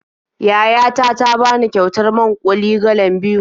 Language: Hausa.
Yaya ta ta bani kyautar man-ƙuli galan biyu.